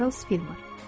Charles Filmer.